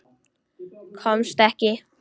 Komst ekki.